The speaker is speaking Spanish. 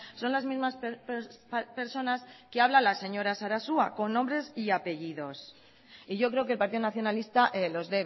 son las mismas personas que habla la señora sarasua con nombres y apellidos y yo creo que el partido nacionalista los